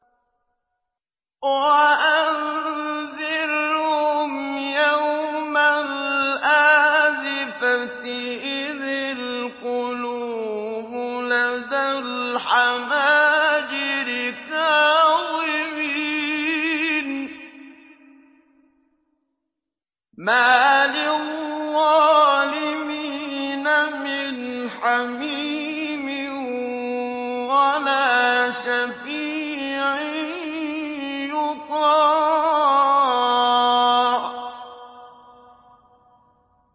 وَأَنذِرْهُمْ يَوْمَ الْآزِفَةِ إِذِ الْقُلُوبُ لَدَى الْحَنَاجِرِ كَاظِمِينَ ۚ مَا لِلظَّالِمِينَ مِنْ حَمِيمٍ وَلَا شَفِيعٍ يُطَاعُ